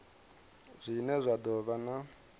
zwine zwa do vha na